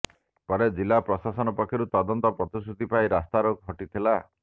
ପରେ ଜିଲା ପ୍ରଶାସନ ପକ୍ଷରୁ ତଦନ୍ତ ପ୍ରତିଶ୍ରୁତି ପାଇ ରାସ୍ତାରୋକ ହଟିଥିଲା